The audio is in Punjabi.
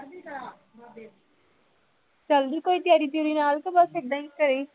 ਚੱਲਦੀ ਕੋਈ ਤਿਆਰੀ ਤਿਊਰੀ ਨਾਲ ਕਿ ਬਸ ਏਦਾਂ ਹੀ ਘਰੇ ਹੀ